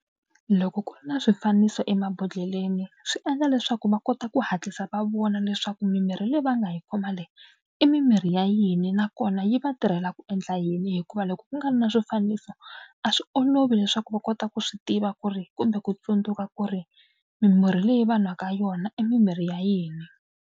Loko ku ri na swifaniso emabodhleleni swi endla leswaku va kota ku hatlisa va vona leswaku mimirhi leyi va nga yi khoma leyi i mimirhi ya yini nakona yi va tirhela ku endla yini hikuva loko ku nga ri na swifaniso a swi olovi leswaku va kota ku swi tiva ku ri kumbe ku tsundzuka ku ri mimirhi leyi va nwaka yona i mimirhi ya yini.